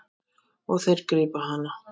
Og þeir grípa hana.